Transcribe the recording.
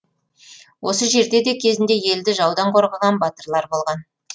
осы жерде де кезінде елді жаудан қорғаған батырлар болған